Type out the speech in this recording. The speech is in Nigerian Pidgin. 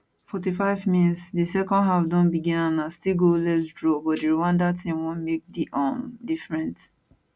45mins di second half don begin and na still goalless draw but di rwanda team wan make di um different